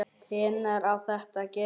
Hvenær á þetta að gerast?